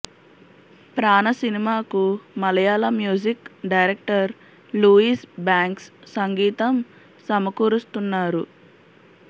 ప్రాణ సినిమాకు మళయాళ మ్యూజిక్ డైరెక్టర్ లూయిజ్ బ్యాంక్స్ సంగీతం సమకూరుస్తున్నారు